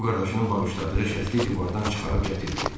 O qardaşının bağışladığı şəkli divardan çıxarıb gətirdi.